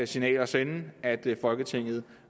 signal at sende at folketinget